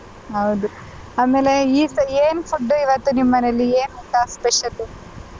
ಹೌದು ಆಮೇಲೆ ಈ ಸಾ~ ಏನ್ food ಇವತ್ತು ನಿಮ್ಮನೆಲ್ಲಿ ಏನ್ ಊಟ special .